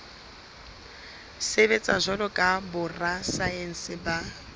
sebetsa jwalo ka borasaense ba